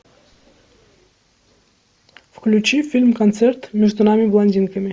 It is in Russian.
включи фильм концерт между нами блондинками